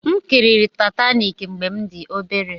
M kiri Taitaniki mgbe m dị obere.